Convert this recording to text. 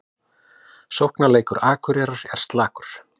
Sóknarleikur Akureyrar er slakur